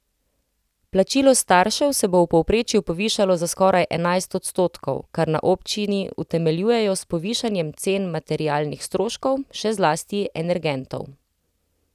Plačilo staršev se bo v povprečju povišalo za skoraj enajst odstotkov, kar na občini utemeljujejo s povišanjem cen materialnih stroškov, še zlasti energentov.